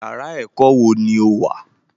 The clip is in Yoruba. Yàrá ẹ̀kọ́ wo ni o wà?